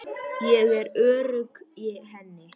Ég er örugg í henni.